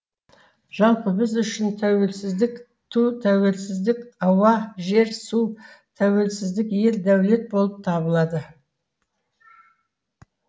жалпы біз үшін тәуелсіздік ту тәуелсіздік ауа жер су тәуелсіздік ел дәулет болып табылады